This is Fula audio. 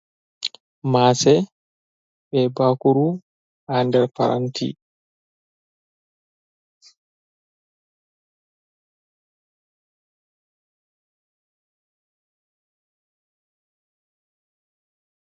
Mase be bakuru ha nder paranti.